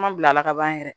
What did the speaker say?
Ma bila ka ban yɛrɛ